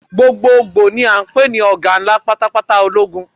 Gbogboogbo ni a ń pè ọ̀gá ńlá pátápátá ológun.